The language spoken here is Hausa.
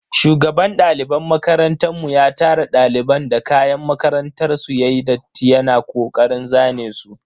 Shugaban daliban makarantan mu ya tara daliban da kayan makarantar su yayi datti yana kokarin zane su.